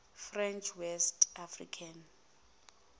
french west africa